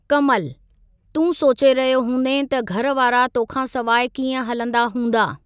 कमल : तूं सोचे रहियो हूंदें त घरवारा तोखां सवाइ कीअं हलंदा हूंदा?